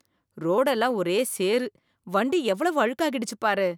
ரோடெல்லாம் ஒரே சேறு. வண்டி எவ்வளவு அழுக்காகிடுச்சு பாரு.